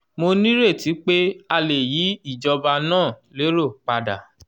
mo nírètí pé a lè yí ìjọba náà lérò padà.